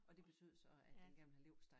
Og det betød så at den gerne ville have leverpostej